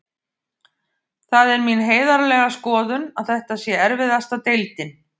Það er mín heiðarlega skoðun að þetta sé erfiðasta deildin.